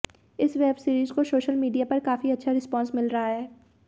इस web series को social media पर काफी अच्छा रिस्पॉन्स मिल रहा है